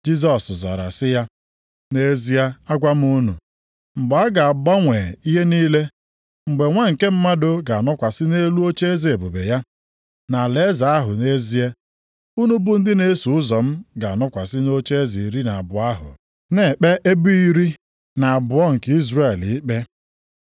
Jisọs zara sị ya, “Nʼezie agwa m unu, mgbe a ga-agbanwe ihe niile, mgbe Nwa nke Mmadụ ga-anọkwasị nʼelu ocheeze ebube ya, nʼalaeze ahụ, nʼezie, unu bụ ndị na-eso ụzọ m ga-anọkwasị nʼocheeze iri na abụọ ahụ, na-ekpe ebo iri na abụọ nke Izrel ikpe.